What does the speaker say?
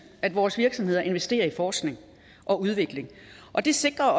at vores virksomheder investerer i forskning og udvikling og det sikrer